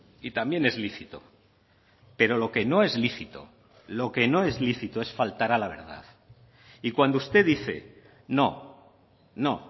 y también es lícito pero lo que no es lícito lo que no es lícito es faltar a la verdad y cuando usted dice no no